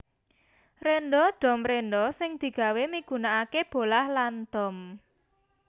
Rénda dom rénda sing digawé migunakaké bolah lan dom